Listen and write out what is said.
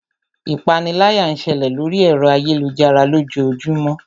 Ipániláyà ń ṣẹlẹ̀ lóri ẹ̀rọ ayélujára lójoojúmó.